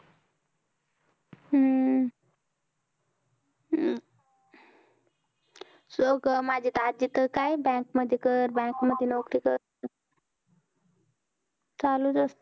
हम्म हम्म माझी आजी तर काय bank मध्ये कर bank मध्ये नोकरी कर चालूच असत